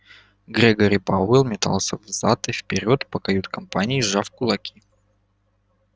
грегори пауэлл метался взад и вперёд по кают-компании сжав кулаки